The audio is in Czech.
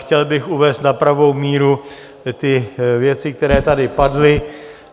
Chtěl bych uvést na pravou míru ty věci, které tady padly.